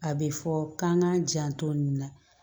A bɛ fɔ k'an k'an janto nin na